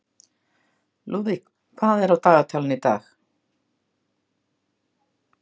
Lúðvíg, hvað er á dagatalinu í dag?